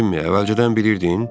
Cimmi, əvvəlcədən bilirdin?